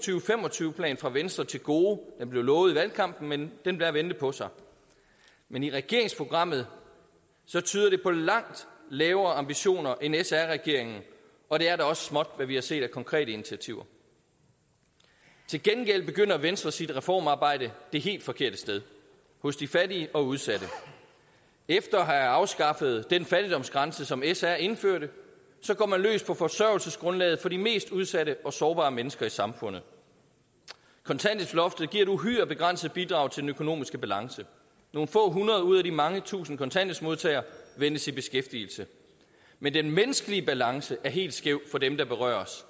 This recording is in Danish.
og tyve plan fra venstre til gode den blev lovet i valgkampen men den lader vente på sig men i regeringsprogrammet tyder det på langt lavere ambitioner end sr regeringens og det er da også småt med hvad vi har set af konkrete initiativer til gengæld begynder venstre sit reformarbejde det helt forkerte sted hos de fattige og udsatte efter at have afskaffet den fattigdomsgrænse som sr indførte går man løs på forsørgelsesgrundlaget for de mest udsatte og sårbare mennesker i samfundet kontanthjælpsloftet giver et uhyre begrænset bidrag til den økonomiske balance nogle få hundrede ud af de mange tusind kontanthjælpsmodtagere ventes i beskæftigelse men den menneskelige balance er helt skæv for dem der berøres